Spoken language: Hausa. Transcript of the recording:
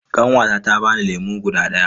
Ƙanwata ta bani lemu guda daya.